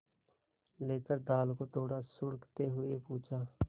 लेकर दाल को थोड़ा सुड़कते हुए पूछा